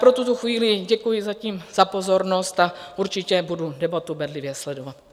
Pro tuto chvíli děkuji zatím za pozornost a určitě budu debatu bedlivě sledovat.